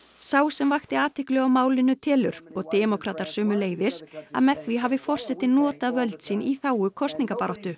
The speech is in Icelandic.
sá sem vakti athygli á málinu telur og demókratar sömuleiðis að með því hafi forsetinn notað völd sín í þágu kosningabaráttu